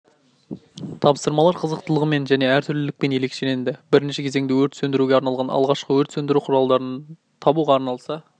тапсырмалар қызықтылығымен және әртүрлілікпен ерекшеленді бірінші кезеңде өрт сөндіруге арналған алғашқы өрт сөндіру құралдарын табуға арналса